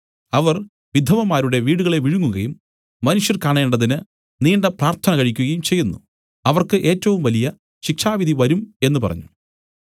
അവർ വിധവമാരുടെ വീടുകളെ വിഴുങ്ങുകയും മനുഷ്യർ കാണേണ്ടതിന് നീണ്ട പ്രാർത്ഥന കഴിക്കുകയും ചെയ്യുന്നു അവർക്ക് ഏറ്റവും വലിയ ശിക്ഷാവിധി വരും എന്നു പറഞ്ഞു